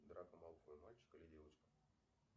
драко малфой мальчик или девочка